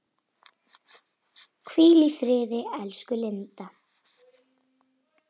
Hvíl í friði, elsku Linda.